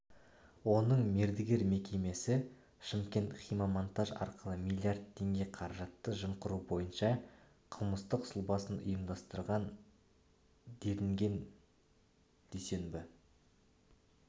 оның мердігер мекемесі шымкентхиммонтаж арқылы млрд теңге қаражатты жымқыру бойынша қылмыстық сұлбасын ұйымдастырған делінген дүйсенбі